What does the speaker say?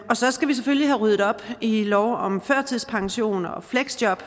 så skal vi selvfølgelig have ryddet op i lov om førtidspension og fleksjob